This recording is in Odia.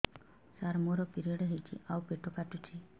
ସାର ମୋର ପିରିଅଡ଼ ହେଇଚି ଆଉ ପେଟ କାଟୁଛି